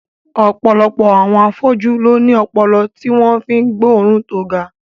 Ọ̀pọ̀lọpọ̀ àwọn afọ́jú ló ní ọpọlọ tí wọ́n fi ń gbóòórùn tó ga